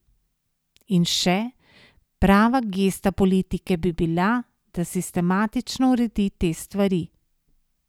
In še: "Prava gesta politike bi bila, da sistematično uredi te stvari.